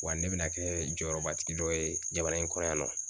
Wa ne bɛna kɛɛ jɔyɔrɔbatigi dɔ ye jamana in kɔrɔ yan nɔ